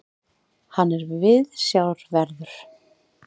Hann er viðsjárverður.